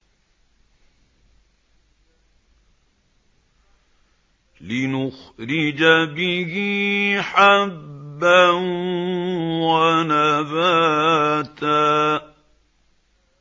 لِّنُخْرِجَ بِهِ حَبًّا وَنَبَاتًا